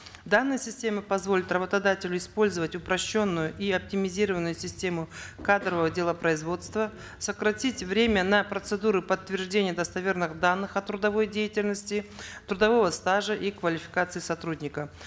данная система позволит работодателю использовать упрощенную и оптимизированную систему кадрового делопроизводства сократить время на процедуры подтверждения достоверных данных о трудовой деятельности трудового стажа и квалификации сотрудника